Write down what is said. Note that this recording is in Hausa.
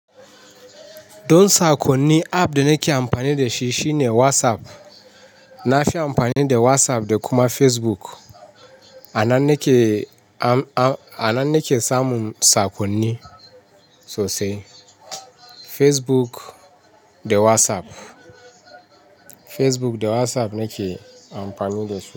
Don sakonni app da nake amfani da shi shine WhatsApp. Nafiya amfani da WhatsApp da kuma Facebook. Ana nike, ana nike samun sakonni sosai. Facebook da WhatsApp. Facebook da WhatsApp nike amfani da su.